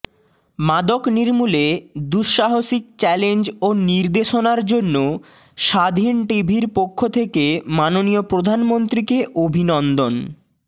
মাদক নির্মূলে দুঃসসাহসিক চ্যালেঞ্জ ও নির্দেশনার জন্য স্বাধীন টিভির পক্ষ থেকে মাননীয় প্রধান মন্ত্রীকে অভিনন্দন